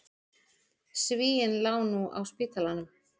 Svíinn lá nú á spítalanum.